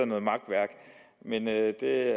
noget makværk men det er